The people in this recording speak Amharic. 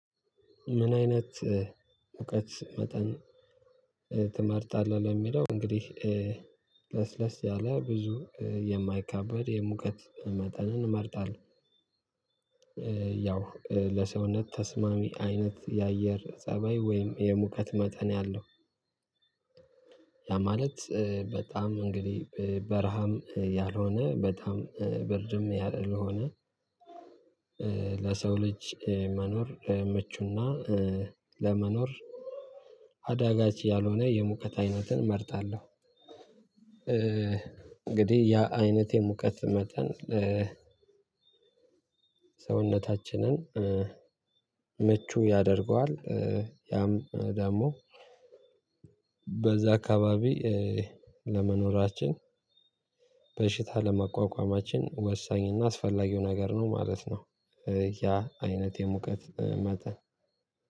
ምን አይነት እውቀት መጠን ትመርጣለህ? ለሚለው እንግዲህ ለስለስ ያለ ብዙ የማይካበድ የሙቀት መጠንን እመርጣለሁ። ያው ለሰውነት ተስማሚ አይነት የአየር ፀባይ ወይም የሙቀት መጠን ያለው። ያ ማለት በጣም እንግዲህ በረሃም ያልሆነ በጣም ብርድም ያልሆነ። ለሰው ልጅ መኖር ምቹ እና ለመኖር አዳጋች ያልሆነ የሙቀት ዓይነትን እመርጣለሁ። እንግዲህ ያ አይነቴን የሙቀት መጠን። ሰውነታችንን ምቹ ያደርገዋል። ያም ደግሞ በዛ አካባቢ ለመኖራችን በሽታ ለመቋቋማችን ወሳኝ እና አስፈላጊው ነገር ነው ማለት ነው። ያ አይነት የሙቀት መጠን